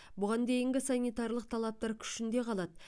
бұған дейінгі санитарлық талаптар күшінде қалады